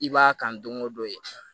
I b'a kan don o don ye